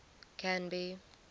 canby